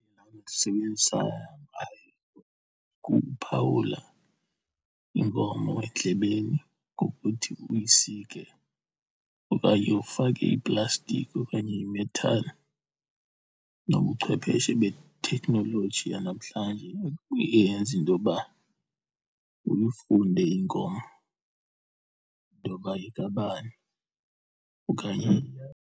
ndisebenzisa ngayo kukuphawula inkomo endlebeni ngokuthi uyisike okanye ufake iplastiki okanye imethali. Nobuchwepheshe betheknoloji yanamhlanje iye yenze into yoba uye ufunde inkomo intoba yekabani okanye.